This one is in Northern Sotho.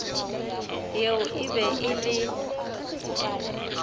yeo e be e le